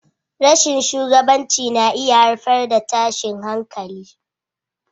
Rashin shugabanci na iya haifar da tashin hankali.